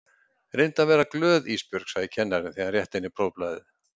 Reyndu að vera glöð Ísbjörg, sagði kennarinn þegar hann rétti henni prófblaðið.